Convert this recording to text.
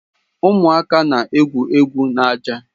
Ụmụaka na egwu egwu n'ájá.